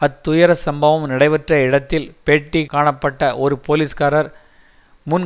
அத் துயர சம்பவம் நடைபெற்ற இடத்தில் பேட்டி காணப்பட்ட ஒரு போலீஸ்காரர் முன்